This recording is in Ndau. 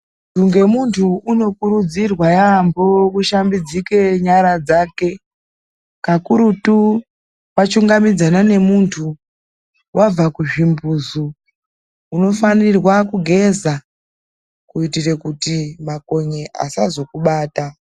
Ngemuntu unokurudzirwa yaambo kushambidzike nyara dzake, kakurutu wachungamidzana nemuntu, wabva kuzvimbuzu. Unofanirwa kugeza kuitire kuti makonye asazokubata.